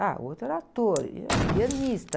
Ah, o outro era ator, ele era pianista.